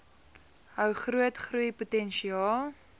hou groot groeipotensiaal